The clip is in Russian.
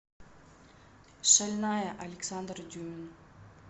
шальная александр дюмин